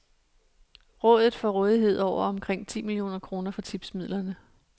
Rådet får rådighed over omkring ti millioner kroner fra tipsmidlerne.